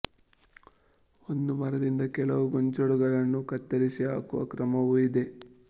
ಒಂದು ಮರದಿಂದ ಕೆಲವು ಗೊಂಚಲುಗಳನ್ನೇ ಕತ್ತರಿಸಿ ಹಾಕುವ ಕ್ರಮವೂ ಇದೆ